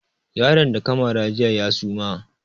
Yaron da ka mara jiya ya suma